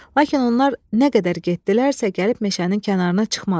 Lakin onlar nə qədər getdilərsə, gəlib meşənin kənarına çıxmadılar.